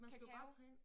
Kakao